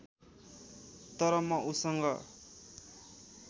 तर म उसँग